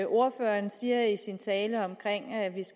ordføreren siger i sin tale om